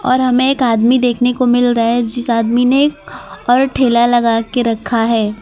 और हमें एक आदमी देखने को मिल रहा है जिस आदमी ने और ठेला लगा के रखा है।